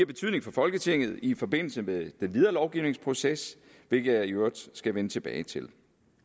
betydning for folketinget i forbindelse med den videre lovgivningsproces hvilket jeg i øvrigt skal vende tilbage til